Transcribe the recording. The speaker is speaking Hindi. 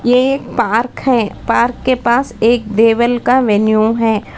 ये एक पार्क है पार्क के पास एक डेविल का वेन्यू है।